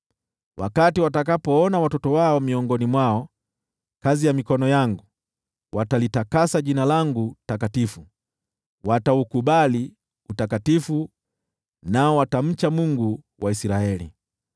Wakati watakapoona watoto wao miongoni mwao, kazi ya mikono yangu, watalitakasa Jina langu takatifu; wataukubali utakatifu wa yeye Aliye Mtakatifu wa Yakobo, nao watamcha Mungu wa Israeli.